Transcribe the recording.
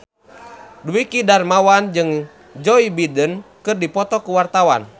Dwiki Darmawan jeung Joe Biden keur dipoto ku wartawan